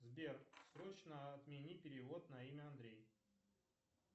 сбер срочно отмени перевод на имя андрей